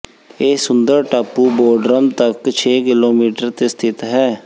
ਇਹ ਸੁੰਦਰ ਟਾਪੂ ਬੋਡ੍ਰਮ ਤੱਕ ਛੇ ਕਿਲੋਮੀਟਰ ਤੇ ਸਥਿਤ ਹੈ